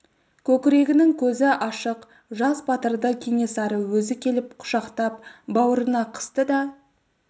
көкірегінің көзі ашық жас батырды кенесары өзі келіп құшақтап баурына қысты да